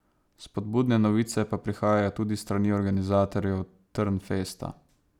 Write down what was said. Spodbudne novice pa prihajajo tudi s strani organizatorjev Trnfesta.